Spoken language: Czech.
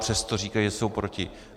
Přesto říkají, že jsou proti.